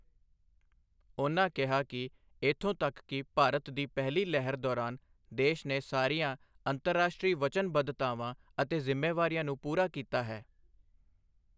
ਉਹਨਾਂ ਕਿਹਾ ਕਿ ਇੱਥੋਂ ਤੱਕ ਕਿ ਭਾਰਤ ਦੀ ਪਹਿਲੀ ਲਹਿਰ ਦੌਰਾਨ ਦੇਸ਼ ਨੇ ਸਾਰੀਆਂ ਅੰਤਰਰਾਸ਼ਟਰੀ ਵਚਨਬੱਧਤਾਵਾਂ ਅਤੇ ਜਿ਼ੰਮੇਵਾਰੀਆਂ ਨੂੰ ਪੂਰਾ ਕੀਤਾ ਹੈ।